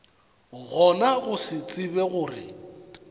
gona go se tsebe gore